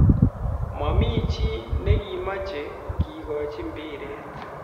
"Mamii chii nekimache kekochi mbiret.